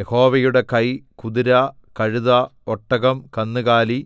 യഹോവയുടെ കൈ കുതിര കഴുത ഒട്ടകം കന്നുകാലി